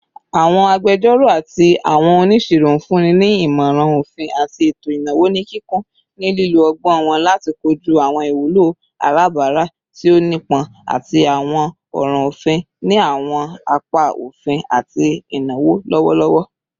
Awọn agbẹjọro ati awọn oniṣiro n funni ni imọran ofin ati eto inawo ni kikun, ni lilo ọgbọn wọn lati koju awọn iwulo alabara ti o nipọn ati awọn ọran ofin ni awọn apa ofin ati inawo lọwọlọwọ